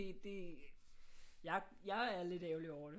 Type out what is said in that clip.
Det jeg er lidt ærgerlig over det